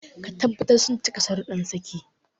Ka tabbatar sun cika shararuddan saki.